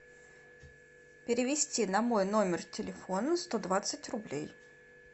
перевести на мой номер телефона сто двадцать рублей